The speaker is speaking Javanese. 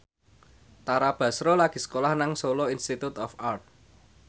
Tara Basro lagi sekolah nang Solo Institute of Art